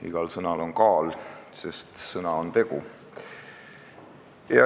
Igal sõnal on kaal, sest sõna on tegu.